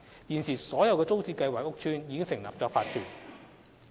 現時所有租置屋邨均已成立法團。